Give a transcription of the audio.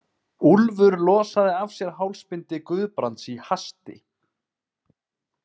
Úlfur losaði af sér hálsbindi Guðbrands í hasti.